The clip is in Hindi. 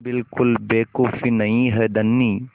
बिल्कुल बेवकूफ़ी नहीं है धनी